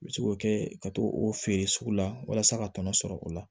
N bɛ se k'o kɛ ka to o feere sugu la walasa ka tɔnɔ sɔrɔ o la